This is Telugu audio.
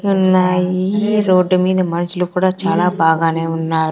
ఉన్నాయి రోడ్డు మీద మనుషులు కూడా చాలా బాగానే ఉన్నార్.